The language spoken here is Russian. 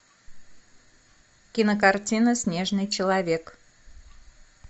кинокартина снежный человек